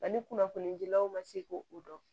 Ani kunnafonidilaw ma se k'o dɔn